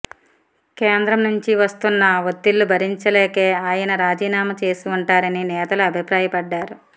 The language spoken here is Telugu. కేంద్రం నుంచి వస్తున్న ఒత్తిళ్లు భరించలేకే ఆయన రాజీనామా చేసి ఉంటారని నేతలు అభిప్రాయపడ్డారు